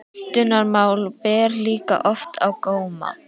Menntunarmál ber líka oft á góma.